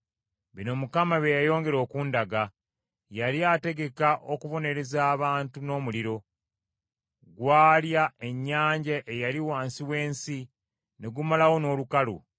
Bino Mukama bye yayongera okundaga. Yali ategeka okubonereza abantu n’omuliro. Gwalya ennyanja eyali wansi w’ensi ne gumalawo n’olukalu.